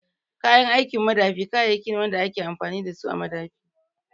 Kayan aikin madafi kayayyaki ne wanda ake amfani da su a madafi